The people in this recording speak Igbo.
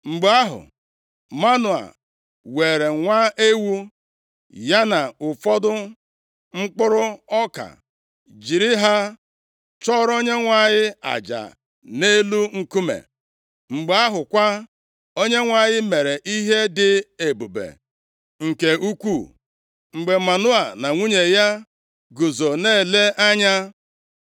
Mgbe ahụ, Manoa weere nwa ewu, ya na ụfọdụ mkpụrụ ọka, jiri ha chụọrọ Onyenwe anyị aja nʼelu nkume. Mgbe ahụ kwa, Onyenwe anyị mere ihe dị ebube nke ukwuu mgbe Manoa na nwunye ya guzo na-ele anya: